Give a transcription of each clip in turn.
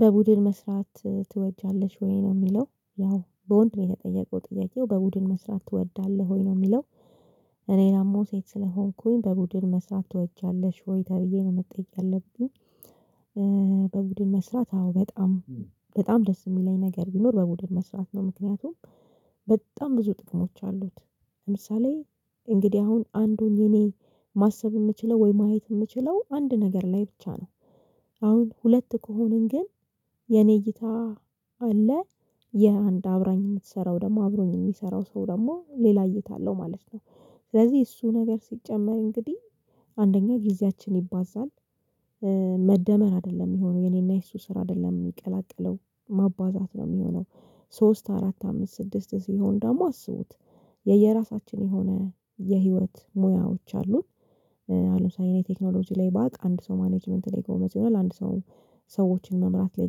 በቡድን መስራት ትወጃለሽ ወይ ነው የሚለው ያው በወንድ ነው የተጠየቀው ጥያቄው በቡድን መስራት ትወዳለህ ወይ ነው የሚለው? እኔ ደግሞ ሴት ስለሆንኩኝ በቡድን መስራት ትወጃለሽ ወይ ተብዬ ነው መጠየቅ ያለብኝ። በቡድን መስራት አዎ በጣም በጣም ደስ የሚለኝ ነገር ቢኖር በቡድን መስራት ነው። ምክንያቱም በጣም ብዙ ጥቅሞች አሉት። ለምሳሌ እንግዲህ አሁን አንዱን የኔ ማሰብ የምችለው ወይ ማየት የምችለው አንድ ነገር ላይ ብቻ ነው። አሁን ሁለት ከሆንን ግን የኔ እይታ አለ የአንድ አብራኝ የምትሰራው ደግሞ አብሮኝ የሚሰራው ሰው ደግሞ ሌላ እይታ አለው ማለት ነው። ስለዚህ እሱ ነገር ሲጨመር እንግዲህ አንደኛ ጊዜያችን ይባዛል። መደመር አይደለም የሚሆነው የኔና የእሱ ስራ አይደለም የሚቀላቀለው ማባዛት ነው የሚሆነው። ሶስት አራት አምስት ስድስት ሲሆን ደግሞ አስቡት የየራሳችን የሆነ የህይወት ሙያዎች አሉን። አሁን ለምሳሌ እኔ ቴክኖሎጂ ላይ ባቅ አንድ ሰው ማኔጅመንት ላይ ጎበዝ ይሆናል። አንድ ሰው ሰዎችን መምራት ላይ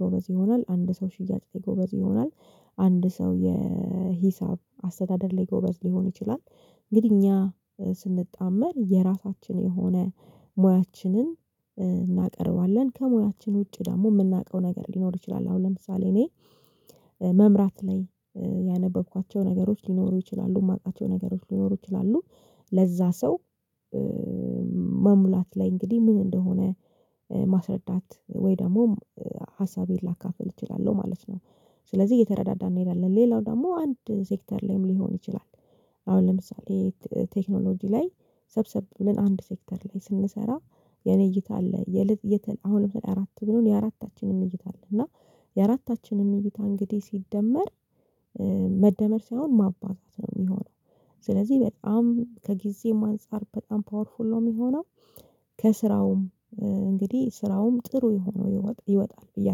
ጎበዝ ይሆናል። አንድ ሰው ሽያጭ ላይ ጎበዝ ይሆናል። አንድ ሰው የሂሳብ አስተዳደር ላይ ጎበዝ ሊሆን ይችላል። እንግዲህ እኛ ስንጣመር የራሳችን የሆነ ሙያችንን እናቀርባለን ከሞያችን ውጪ ደግሞ የምናውቀው ነገር ሊኖር ይችላል። አሁን ለምሳሌ እኔ መምራት ላይ ያነበብኳቸው ነገሮች ሊኖሩ ይችላሉ የማቃቸው ነገሮች ሊኖሩ ይችላሉ። ለዛ ሰው መሙላት ላይ እንግዲህ ምን እንደሆነ ማስረዳት ወይ ደግሞ ሀሳቤን ላካፍል እችላለሁ ማለት ነው። ስለዚህ እየተረዳዳን እንሄዳለን ሌላው ደግሞ አንድ ሴክተር ላይም ሊሆን ይችላል። አሁን ለምሳሌ ቴክኖሎጂ ላይ ሰብሰብ ብለን አንድ ሴክተር ላይ ስንሰራ የኔ እይታ አለ የለት የተ አሁን ለምሳሌ አራት ብንሆን የአራታችንም ምኞት አለ እና የአራታችንም ምኞት እንግዲህ ሲደመር መደመር ሳይሆን ማባዛት ነው የሚሆነው። ስለዚህ በጣም ከጊዜም አንፃር በጣም ፓወርፉል ነው የሚሆነው። ከስራውም እንግዲህ ስራውም ጥሩ ሆኖ ይወጣል ብዬ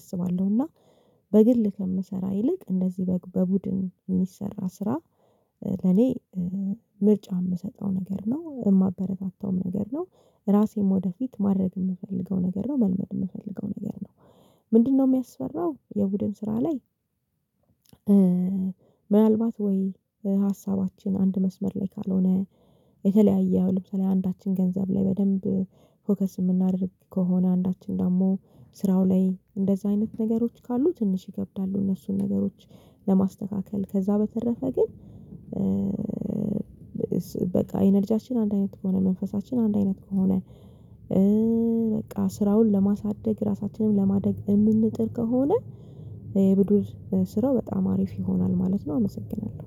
አስባለሁና። በግል ከምሰራ ይልቅ እንደዚህ በግ በቡድን የሚሰራ ስራ ለኔ ምርጫ የምሰጠው ነገር ነው የማበረታታውም ነገር ነው። ራሴም ወደፊት ማድረግ የምፈልገው ነገር ነው መልመድ የምፈልገው ነገር ነው። ምንድነው የሚያስፈራው የቡድን ስራ ላይ? ምናልባት ወይ ሀሳባችን አንድ መስመር ላይ ካልሆነ የተለያየ አሁን ለምሳሌ አንዳችን ገንዘብ ላይ በደንብ ፎከስ የምናደርግ ከሆነ አንዳችን ደግሞ ስራው ላይ እንደዚህ አይነት ነገሮች ካሉ ትንሽ ይከብዳሉ እነሱን ነገሮች ለማስተካከል ከዛ በተረፈ ግን። በቃ አይነ ልጃችን አንድ አይነት ከሆነ መንፈሳችን አንድ አይነት ከሆነ። በቃ ስራውን ለማሳደግ ራሳችንን ለማደግ የምንጥር ከሆነ የቡድን ስራው በጣም አሪፍ ይሆናል ማለት ነው። አመሰግናለሁ